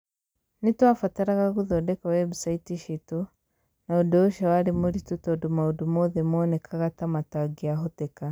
Nĩ twabataraga gũthondeka webusaiti ciitũ, na ũndũ ũcio warĩ mũritũ tondũ maũndũ mothe moonekaga ta matangĩahoteka.